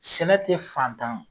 Sɛnɛ tɛ fantan